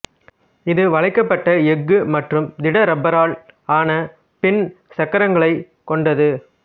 இது வளைக்கப்பட்ட எஃகு மற்றும் திட ரப்பரால் ஆன பின் சக்கரங்களைக் கொண்டது